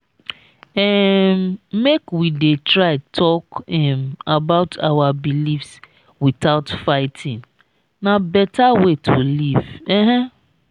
um make we dey try talk um about our beliefs without fighting; na beta way to live. um